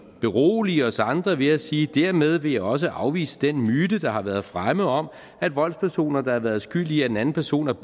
berolige os andre ved at sige dermed vil jeg også afvise den myte der har været fremme om at voldspersoner der har været skyld i at en anden person er